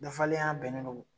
bɛnnen non